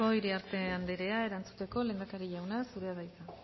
bidelagun bat eskerrik asko iriarte andrea erantzuteko lehendakari jauna zurea da hitza